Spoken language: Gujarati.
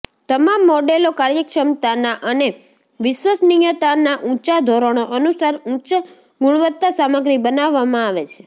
તમામ મોડેલો કાર્યક્ષમતાના અને વિશ્વસનીયતા ના ઊંચા ધોરણો અનુસાર ઉચ્ચ ગુણવત્તા સામગ્રી બનાવવામાં આવે છે